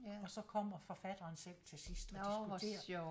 Og så kommer forfatteren selv til sidst og diskuterer